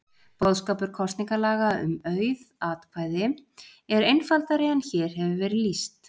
Boðskapur kosningalaga um auð atkvæði er einfaldari en hér hefur verið lýst.